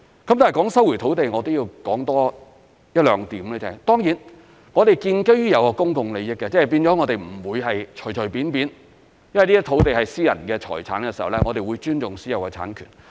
談到收回土地，還要多說一兩點，當然我們是建基於公共利益的，即不會隨隨便便收回的，因這些土地是私人財產，我們會尊重私有產權。